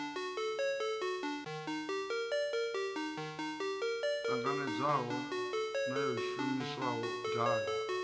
ṱanganedzwaho na yo shumiswaho davhi